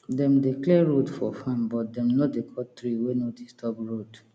dem dey clear road for farm but dem no dey cut tree wey no disturb road